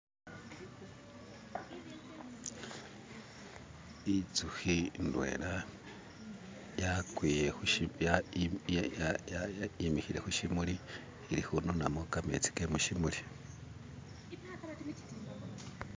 Inzukhi indwela yakwiye khu shibya yimikhile khushimuli ikhununamo kametsi ke muchimuli